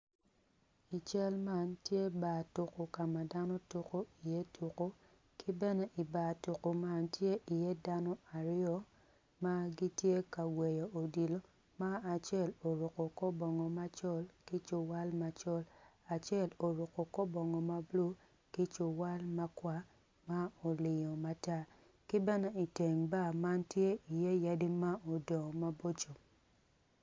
I cal man tye bar tuko ka ma dano tuko iye tuko, ki bene i bar tuko man tye iye dano aryo ma gitye ka gweyo odilo ma acel oruko kor bongo macol ki cuwal macol acel oruko kor bongo ma bulu ki cuwal makwar ma olingo matar ki bene iteng bar man tye iye yadi ma odongo maboco.